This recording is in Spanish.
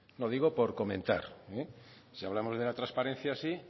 lo digo por comentar si hablamos de la transparencia así